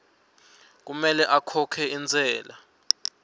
kumele akhokhe intsela